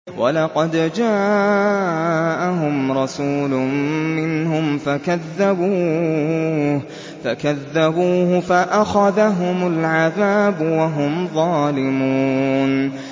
وَلَقَدْ جَاءَهُمْ رَسُولٌ مِّنْهُمْ فَكَذَّبُوهُ فَأَخَذَهُمُ الْعَذَابُ وَهُمْ ظَالِمُونَ